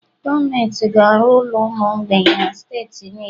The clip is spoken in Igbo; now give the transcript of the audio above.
Gọọmenti ga-arụ ụlọ ụmụ mgbei na steeti niile